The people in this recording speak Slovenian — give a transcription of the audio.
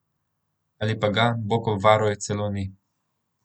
Ali pa ga, Bog obvaruj, celo ni.